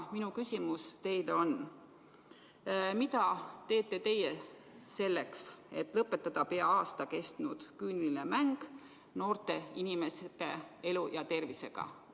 Minu küsimus teile on: mida teete teie selleks, et lõpetada pea aasta kestnud küüniline mäng noorte inimeste elu ja tervisega?